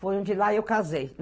Foi onde lá eu casei.